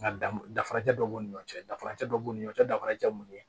Nga danfarajɔ dɔ b'u ni ɲɔgɔn cɛ danfarancɛ dɔ b'u ni ɲɔgɔncɛ danfarajɛ minnu ye